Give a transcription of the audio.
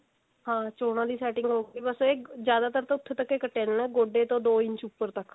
ਹਾਂ ਚੋਣਾ ਦੀ setting ਹੋਊਗੀ ਬਸ ਇਹ ਜਿਆਦਾਤਰ ਤਾਂ ਉੱਥੇ ਤੱਕ ਹੀ ਕੱਟਿਆ ਜਾਂਦਾ ਗੋਡੇ ਤੋਂ ਦੋ ਇੰਚ ਉੱਪਰ ਤੱਕ